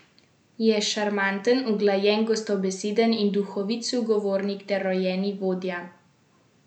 Je šarmanten, uglajen, gostobeseden in duhovit sogovornik ter rojeni vodja.